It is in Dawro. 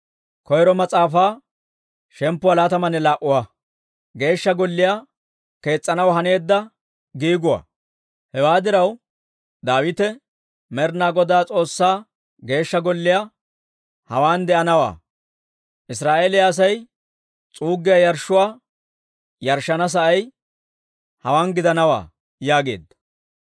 Hewaa diraw, Daawite, «Med'inaa Godaa S'oossaa Geeshsha Golliyaa hawaan de'anawaa; Israa'eeliyaa Asay s'uuggiyaa yarshshuwaa yarshshana sa'ay hawaa gidanawaa» yaageedda.